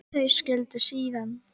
Þau skildu síðan.